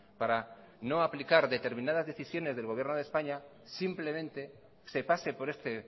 para no aplicar determinadas decisiones del gobierno de españa simplemente se pase por este